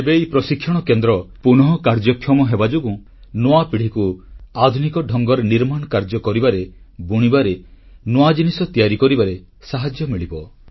ଏବେ ଏହି ପ୍ରଶିକ୍ଷଣ କେନ୍ଦ୍ର ପୁନଃକାର୍ଯ୍ୟକ୍ଷମ ହେବାଯୋଗୁଁ ନୂଆ ପିଢ଼ିକୁ ଆଧୁନିକ ଢଙ୍ଗରେ ନିର୍ମାଣ କାର୍ଯ୍ୟ କରିବାରେ ବୁଣିବାରେ ନୂଆ ଜିନିଷ ତିଆରି କରିବାରେ ସାହାଯ୍ୟ ମିଳିବ